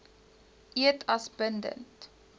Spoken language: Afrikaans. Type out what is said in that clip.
eed as bindend